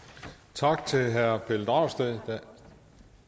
tak til herre pelle dragsted